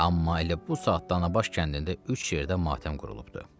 Amma elə bu saatda Nabaş kəndində üç yerdə matəm qurulubdur.